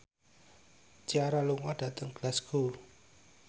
Ciara lunga dhateng Glasgow